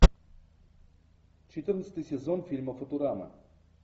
четырнадцатый сезон фильма футурама